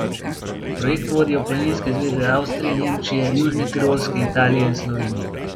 Projekt vodijo planinske zveze Avstrije, Nemčije, Južne Tirolske, Italije in Slovenije.